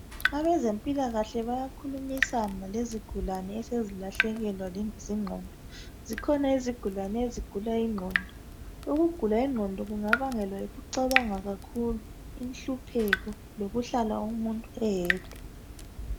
Abezempilakahle bayakhulumisana lezigulane esezilahlekelwa zingqondo. Zikhona izigulane ezigula ingqondo. Ukugula ingqondo kungabangelwa yikucabanga kakhulu, inhlupheko, lokuhlala umuntu eyedwa.